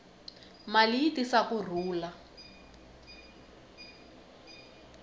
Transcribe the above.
mali yi tisa ku rhula